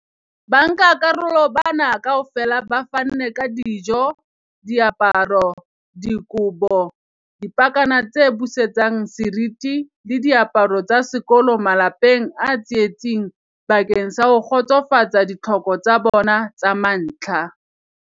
Bankakarolo bana kaofela ba fanne ka dijo, diaparo, dikobo, dipakana tse busetsang seriti le diaparo tsa sekolo malapeng a tsietsing bakeng sa ho kgotsofatsa ditlhoko tsa bona tsa mantlha.